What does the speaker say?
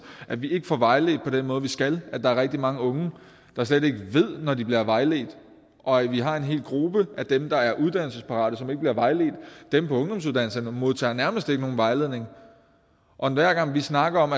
at vi ikke får vejledt på den måde vi skal at der er rigtig mange unge der slet ikke ved når de bliver vejledt og at vi har en hel gruppe af dem der er uddannelsesparate som ikke bliver vejledt dem på ungdomsuddannelserne modtager nærmest ikke nogen vejledning og hver gang vi snakker om